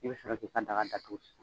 I bɛ sɔrɔ k'i ka daga datugun sisan.